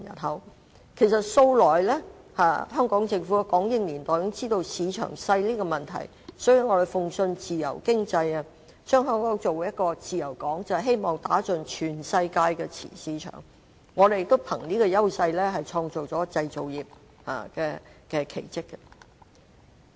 香港政府由港英年代開始已經知道市場小的問題，所以向來信奉自由經濟，將香港打造成一個自由港，便是希望打入全世界的市場，我們也憑着這個優勢，創造出製造業的奇蹟。